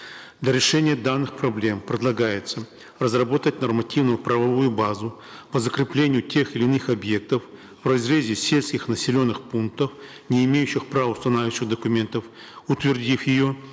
для решения данных проблем предлагается разработать нормативную правовую базу по закреплению тех или иных объектов в разрезе сельских населенных пунктов не имеющих правоустанавливающих документов утвердив ее